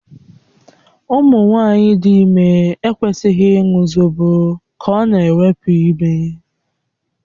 Ụmụ nwanyị dị ime ekwesịghị ịṅụ zobo ka ọ na-ewepụ ime.